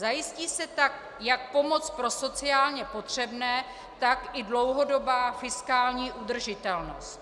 Zajistí se tak jak pomoc pro sociálně potřebné, tak i dlouhodobá fiskální udržitelnost.